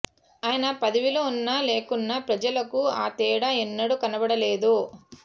ఆయన పదవిలో ఉన్నా లేకున్నా ప్రజలకు ఆ తేడా ఎన్నడూ కనబడలేదు